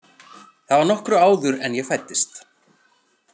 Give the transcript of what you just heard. Það var nokkru áður en ég fæddist.